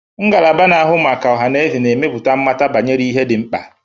Ngalaba na-ahụ maka ọha na eze na-emepụta mmata banyere ihe ndị dị mkpa.